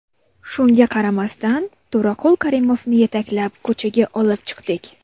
Shunga qaramasdan, To‘raqul Karimovni yetaklab, ko‘chaga olib chiqdik.